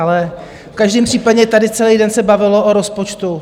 Ale v každém případě tady celý den se bavilo o rozpočtu.